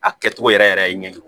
A kɛcogo yɛrɛ yɛrɛ ye ɲɛjugu